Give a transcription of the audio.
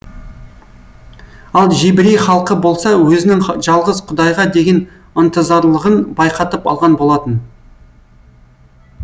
ал жебірей халқы болса өзінің жалғыз құдайға деген ынтызарлығын байқатып алған болатын